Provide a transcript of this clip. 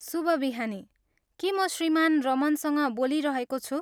शुभ बिहानी, के म श्रीमान रमनसँग बोलिरहेको छु?